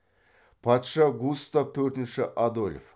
патша густав төртінші адольф